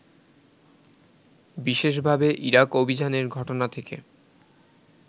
বিশেষভাবে ইরাক অভিযানের ঘটনা থেকে